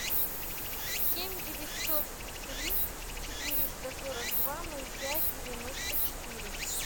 семь девятьсот три четыреста сорок два ноль пять девяносто четыре